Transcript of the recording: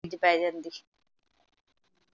ਵਿਚ ਪੈ ਜਾਂਦੀ